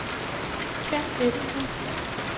Kenn Ebbesen